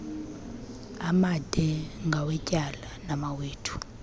amade ngawetyala mawethu